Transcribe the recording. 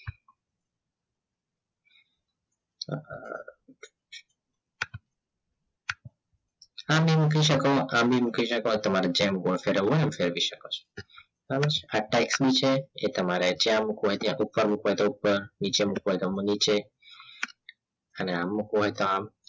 આમ ભી મૂકી સકો આમ ભી મૂકી સકો તમારે જેમ ગોળ ફેરવું હોય એમ ફેરવી સકો છો એ તમારે જ્યાં ઉપર મુક્વુ હોય તો ઉપર નીચે મૂકવું હોય તો નીચે અને આમ મૂકવું હોય તો આમ